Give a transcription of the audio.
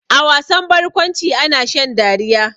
A wasan barkwanci ana shan dariya.